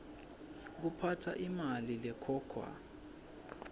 kuphatsa imali lekhokhwa